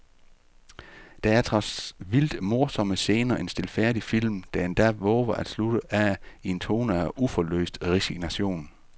Der er trods vildt morsomme scener en stilfærdig film, der endda vover at slutte af i en tone af uforløst resignation.